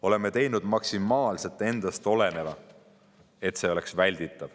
Oleme teinud maksimaalse endast oleneva, et oleks välditav.